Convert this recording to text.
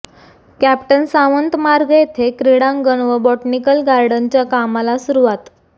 captain Sawant मार्ग येथे क्रीडांगण व बॉटनिकल गार्डनच्या कामाला सुरुवात